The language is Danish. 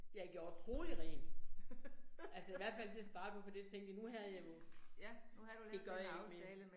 Jeg gjorde troligt rent, altså i hvert fald til at starte med for det tænkte jeg, nu havde jeg jo. Det gør jeg ikke mere